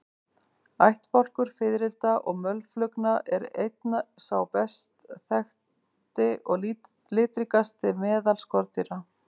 Ættbálkur fiðrilda og mölflugna er einn sá best þekkti og litríkasti meðal skordýra.